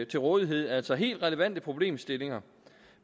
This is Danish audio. til rådighed altså helt relevante problemstillinger